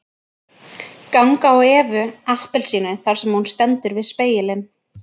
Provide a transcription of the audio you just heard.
Ganga á Evu appelsínu þar sem hún stendur við spegilinn